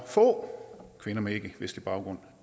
at få kvinder med ikkevestlig baggrund